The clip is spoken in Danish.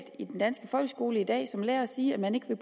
i den danske folkeskole i dag som lærer at sige at man ikke vil